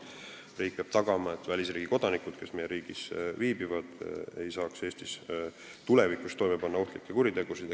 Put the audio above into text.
Riik peab tagama, et välisriigi kodanikud, kes meie riigis viibivad, ei saaks Eestis tulevikus toime panna ohtlikke kuritegusid.